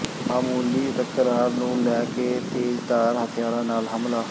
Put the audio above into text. ਮਾਮੂਲੀ ਤਕਰਾਰ ਨੂੰ ਲੈ ਕੇ ਤੇਜ਼ਧਾਰ ਹਥਿਆਰਾਂ ਨਾਲ ਹਮਲਾ